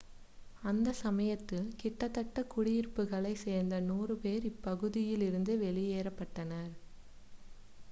அந்தச் சமயத்தில் கிட்டத்தட்ட குடியிருப்புகளைச் சேர்ந்த 100 பேர் இப்பகுதியில் இருந்து வெளியேற்றப்பட்டனர்